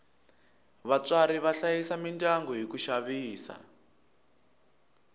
vatswari va hlayisa midyangu hi ku xavisa